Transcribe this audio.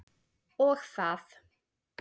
Og það.